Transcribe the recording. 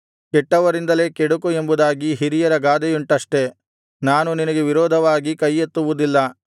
ಕೆಟ್ಟವರಿಂದಲೇ ಕೆಡುಕು ಎಂಬುದಾಗಿ ಹಿರಿಯರ ಗಾದೆಯುಂಟಷ್ಟೆ ನಾನು ನಿನಗೆ ವಿರೋಧವಾಗಿ ಕೈಯೆತ್ತುವುದಿಲ್ಲ